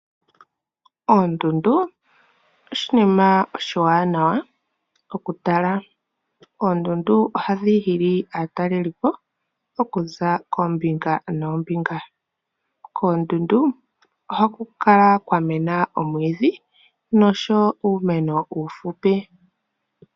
Oondundu oshinima oshiwanawa okutala. Oondundu ohadhi hili aatalelipo okuza koombinga noombinga. Koondundu ohaku kala kwamena oomwiidhi nosho wo uumeno uufupi.